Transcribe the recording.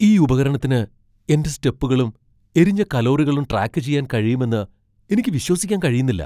ഈ ഉപകരണത്തിന് എന്റെ സ്റ്റെപ്പുകളും എരിഞ്ഞ കലോറികളും ട്രാക്ക് ചെയ്യാൻ കഴിയുമെന്ന് എനിക്ക് വിശ്വസിക്കാൻ കഴിയുന്നില്ല.